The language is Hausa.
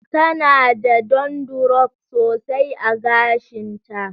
Tana da dandruff sosai a gashinta